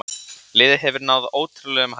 Liðið hefur náð ótrúlegum hæðum.